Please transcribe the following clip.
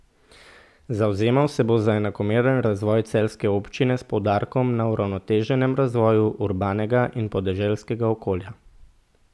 Zavzemal se bo za enakomeren razvoj celjske občine s poudarkom na uravnoteženem razvoju urbanega in podeželskega okolja.